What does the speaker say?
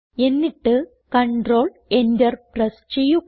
എന്നിട്ട് control Enter press ചെയ്യുക